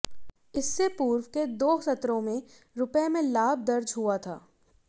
इससे पूर्व के दो सत्रों में रुपये में लाभ दर्जहुआ था